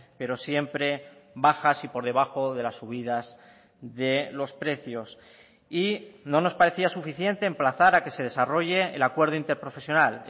pero siempre bajas y por debajo de las subidas de los precios y no nos parecía suficiente emplazar a que se desarrolle el acuerdo interprofesional